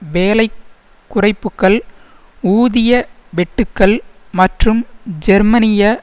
வேலை குறைப்புக்கள் ஊதிய வெட்டுக்கள் மற்றும் ஜெர்மனிய